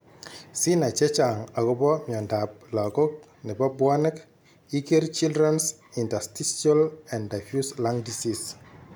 Sinai chechang agobo miondab lagok nebo bwanek iger Children's Interstitial and diffuse Lung Disease